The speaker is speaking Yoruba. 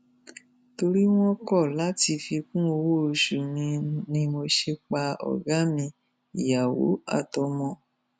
torí wọn kọ láti fi kún owóoṣù mi ni mo ṣe pa ọ̀gá mi ìyàwó àtọmọ wọn